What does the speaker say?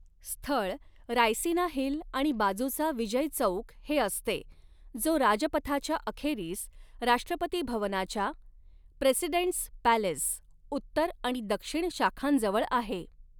स्थळ रायसिना हिल आणि बाजूचा विजय चौक हे असते, जो राजपथाच्या अखेरीस, राष्ट्रपती भवनाच्या प्रेसिडेंटस् पॅलेस उत्तर आणि दक्षिण शाखांजवळ आहे.